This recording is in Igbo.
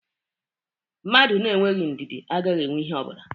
A man without patience is without anything.